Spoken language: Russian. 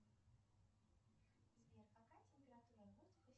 сбер какая температура воздуха